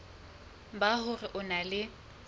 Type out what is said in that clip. ba hore o na le